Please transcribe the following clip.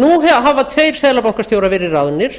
nú hafa tveir seðlabankastjóra verið ráðnir